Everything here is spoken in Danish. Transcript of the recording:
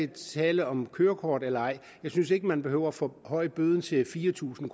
tale om kørekort eller ej jeg synes ikke man behøver at forhøje bøden til fire tusind